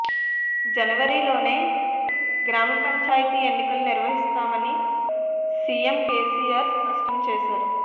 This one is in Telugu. జనవరిలోనే గ్రామ పంచాయతీ ఎన్నికలు నిర్వహిస్తామని సీఎం కేసీఆర్ స్పష్టం చేశారు